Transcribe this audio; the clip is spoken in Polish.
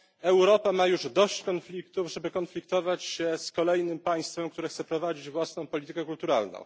Europa ma już dość konfliktów, żeby konfliktować się z kolejnym państwem, które chce prowadzić własną politykę kulturalną.